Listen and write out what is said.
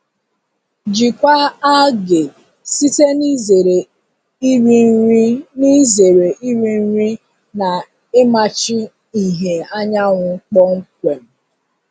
Jikwaa algae site n'izere iri nri n'izere iri nri na ịmachi ìhè anyanwụ kpọmkwem.